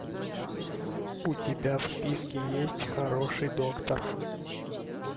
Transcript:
у тебя в списке есть хороший доктор